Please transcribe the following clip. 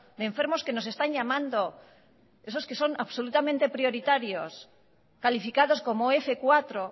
de enfermos que nos están llamando esos que son absolutamente prioritarios calificados como f cuatro